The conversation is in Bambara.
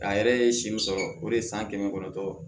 A yɛrɛ ye si min sɔrɔ o de ye san kɛmɛ kɔnɔntɔn